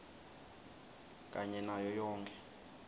kanye nayo yonkhe